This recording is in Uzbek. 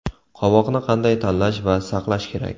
Qovoqni qanday tanlash va saqlash kerak?